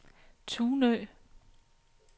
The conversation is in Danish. Tunø